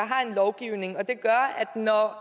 har en lovgivning og det gør at når